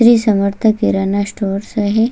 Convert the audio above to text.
Shri Samarth Kirana stores आहे.